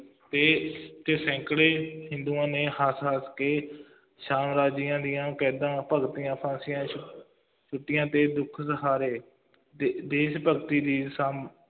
ਤੇ ਤੇ ਸੈਂਕੜੇ ਹਿੰਦੂਆਂ ਨੇ ਹੱਸ ਹੱਸ ਕੇ ਸਾਮਰਾਜਿਆਂ ਦੀਆਂ ਕੈਦਾਂ ਭੁਗਤੀਆਂ, ਫਾਂਸੀਆਂ ਤੇ ਦੁੱਖ ਸਹਾਰੇ ਦੇ ਦੇਸ਼ ਭਗਤੀ ਦੇ ਸਮ